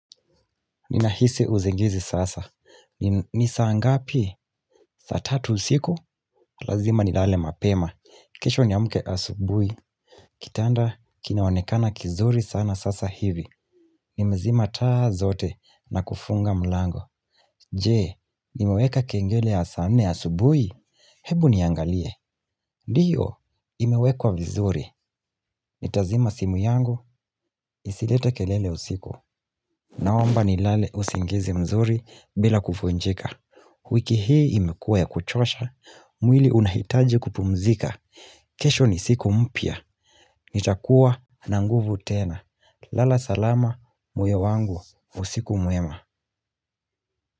Ninahisi usingizi sasa. Ni saa ngapi? Sa tatu usiku? Lazima nilale mapema. Kesho niamke asubuhi. Kitanda kinaonekana kizuri sana sasa hivi. Nimezima taa zote na kufunga mlango. Je, nimeweka kengele ya saa nne asubuhi? Hebu niangalie. Ndiyo, imewekwa vizuri. Nitazima simu yangu, isilete kelele usiku. Naomba nilale usingizi mzuri bila kuvunjika. Wiki hii imekuwa ya kuchosha, mwili unahitaji kupumzika. Kesho ni siku mpia. Nitakuwa na nguvu tena. Lala salama, moyo wangu, usiku mwema.